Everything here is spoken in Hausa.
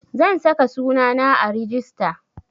Zan saka sunana a rijista